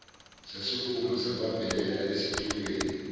sasukuma sabambelela esitulweni